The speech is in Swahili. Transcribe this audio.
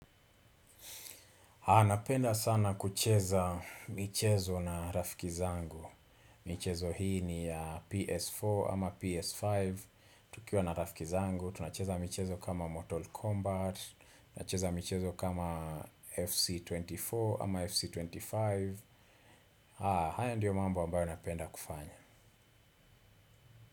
Napenda sana kucheza michezo na rafiki zangu. Michezo hii ni ya PS4 ama PS5. Tukiwa na rafiki zangu, tunacheza michezo kama Mortal Kombat, tunacheza michezo kama FC24 ama FC25. Haya ndio mambo ambayo napenda kufanya.